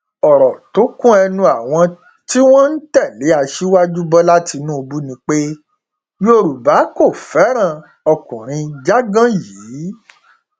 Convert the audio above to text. ọrọ tó kún ẹnu àwọn tí wọn ń tẹlé aṣíwájú bọlá tínúbù ni pé yorùbá kò fẹràn ọkùnrin jágán yìí